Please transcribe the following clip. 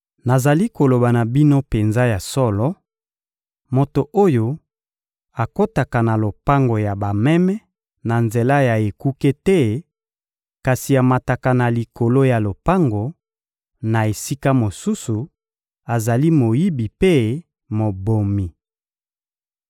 Nazali koloba na bino penza ya solo: moto oyo akotaka na lopango ya bameme na nzela ya ekuke te, kasi amataka na likolo ya lopango, na esika mosusu, azali moyibi mpe mobomi.